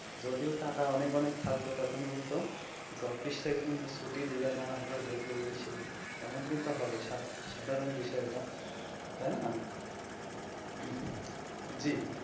যদিও টাকা অনেক অনেক থাকবে তখন কিন্তু office থেকে ছুটি দেবে না আবার বলবে এই সেই এমন কিন্তু হবে সাধারণ বিষয় এইটা তাই না জী.